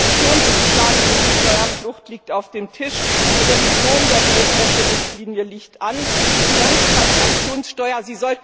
Der Aktionsplan gegen Steuerflucht liegt auf dem Tisch, die Revision der Geldwäsche Richtlinie liegt an, die Finanztransaktionssteuer.